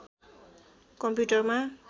कम्प्युटरमा